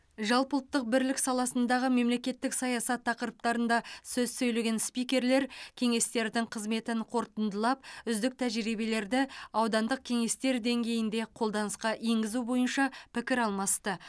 жалпыұлттық бірлік саласындағы мемлекеттік саясат тақырыптарында сөз сөйлеген спикерлер кеңестердің қызметін қорытындылап үздік тәжірибелерді аудандық кеңестер деңгейінде қолданысқа енгізу бойынша пікір алмасты